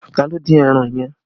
Ta ló dín ẹran yẹn?